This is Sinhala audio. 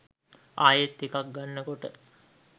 ආයෙත් එකක් ගන්න කොට